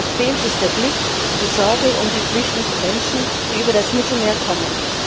Was fehlt, ist der Blick, die Sorge um die flüchtenden Menschen, die über das Mittelmeer kommen.